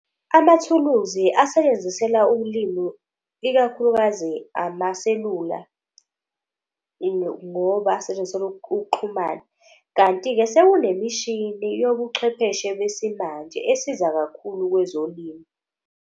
Amathuluzi asetshenziselwa ulimi ikakhulukazi amaselula ngoba asetshenziselwa ukuxhumana. Kanti-ke sekunemishini yobuchwepheshe besimanje esiza kakhulu kwezolimo.